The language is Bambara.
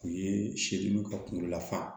U ye seliw ka kunkolo lafaa